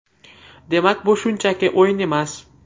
Demak, bu shunchaki o‘yin emas.